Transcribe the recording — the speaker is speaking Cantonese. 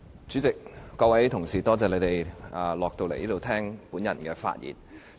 主席，各位同事，感謝大家從樓上下來會議廳聽我發言。